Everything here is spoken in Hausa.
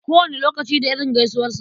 Kowane lokaci da irin gaisuwarsa.